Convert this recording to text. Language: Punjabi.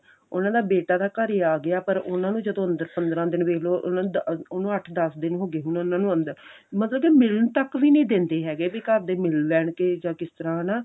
ਉਹਨਾਂ ਦਾ ਬੇਟਾ ਤਾਂ ਘਰੇ ਆ ਗਿਆ ਪਰ ਉਹਨਾਂ ਨੂ ਜਦੋਂ ਅੰਦਰ ਪੰਦਰਾਂ ਦਿਨ ਵੇਖ ਲਓ ਉਨ੍ਹਾਂ ah ਉਹ ਅੱਠ ਦੱਸ ਦਿਨ ਹੋ ਗਏ ਉਹਨਾ ਨੂੰ ਅੰਦਰ ਮਤਲਬ ਕੇ ਮਿਲਣ ਤੱਕ ਵੀ ਨਹੀਂ ਦਿੰਦੇ ਹੈਗੇ ਵੀ ਘਰਦੇ ਮਿਲ ਲੈਣ ਕੇ ਜਾਂ ਕਿਸ ਤਰ੍ਹਾਂ ਹਨਾ